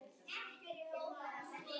Sumrin séu mun skárri tími.